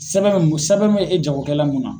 Sɛbɛn sɛbɛn bɛ e jagokɛla mun na.